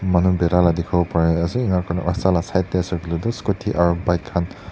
manu berai la dekhivo pari ase enika kurina rasta laga side tae ase koiley toh scooty aru bike khan.